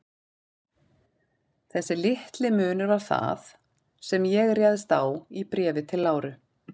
Þessi litli munur var það, sem ég réðst á í Bréfi til Láru.